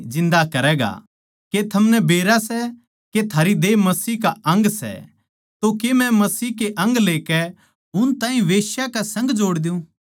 के थमनै बेरा सै के थारी देह मसीह का अंग सै तो के मै मसीह के अंग लेकै उन ताहीं बेश्या के संग जोड़ द्यूँ कद्दे भी न्ही